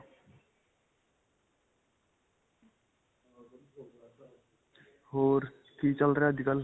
ਹੋਰ, ਕੀ ਚੱਲ ਰਿਹਾ ਅੱਜਕਲ੍ਹ?